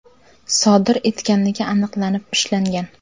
sodir etganligi aniqlanib, ushlangan.